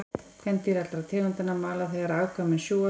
Kvendýr allra tegundanna mala þegar afkvæmin sjúga þær.